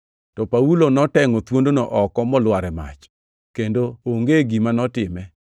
To Paulo notengʼo thuondno oko molwar e mach, kendo onge gima notime.